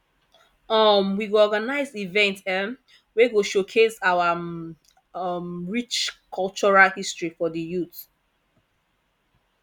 um we go organize events um wey go showcase our um rich cultural history for the youth